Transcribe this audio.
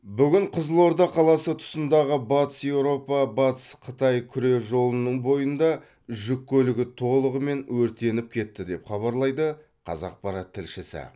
бүгін қызылорда қаласы тұсындағы батыс еуропа батыс қытай күре жолының бойында жүк көлігі толығымен өртеніп кетті деп хабарлайды қазақпарат тілшісі